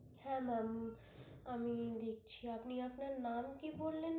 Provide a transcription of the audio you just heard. হ্যাঁ ma'am আমি দেখছি আপনি আপনার নাম কি বললেন?